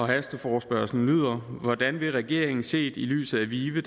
hasteforespørgslen lyder hvordan vil regeringen set i lyset af vive